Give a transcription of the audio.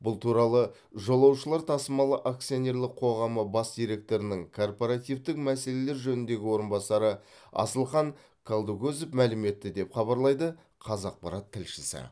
бұл туралы жолаушылар тасымалы акционерлік қоғамы бас директорының корпоративтік мәселелер жөніндегі орынбасары асылхан қалдыкозов мәлім етті деп хабарлайды қазақпарат тілшісі